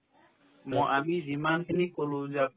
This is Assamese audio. ম আমি যিমানখিনি ক'লো যে